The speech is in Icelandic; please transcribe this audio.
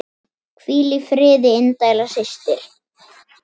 Hvíl í friði indæl systir.